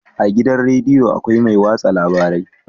A gidan rediyo akwai mai watsa labarai